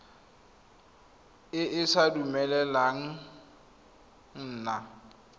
e sa dumeleleng go nna